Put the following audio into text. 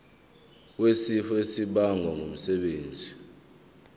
wesifo esibagwe ngumsebenzi